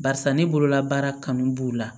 Barisa ne bololabaara kanu b'u la